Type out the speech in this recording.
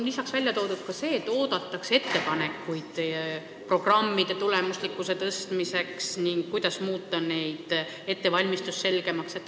Lisaks on kirjas, et oodatakse ettepanekuid programmide tulemuslikkuse suurendamiseks ning selle kohta, kuidas muuta nende ettevalmistus selgemaks.